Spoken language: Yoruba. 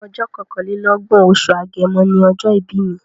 Ọjọ́ kọkànlélọ́gbọ̀n, oṣù Agẹmọ ni ọjọ́ ìbí mi.